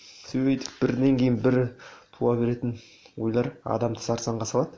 сөйтіп бірінен кейін бірі туа беретін ойлар адамды сарсаңға салады